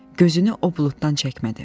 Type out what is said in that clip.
Gözünü o buluddan çəkmədi.